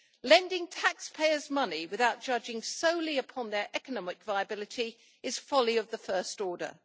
Lending taxpayers' money without judging solely upon their economic viability is folly of the first order.